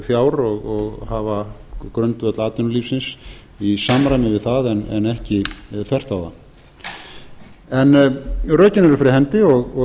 fjár og hafa grundvöll atvinnulífsins í samræmi við það en ekki þvert á það en rökin eru fyrir hendi og